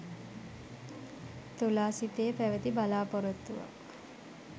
තුලා සිතේ පැවැති බලා‍පොරොත්තුවක්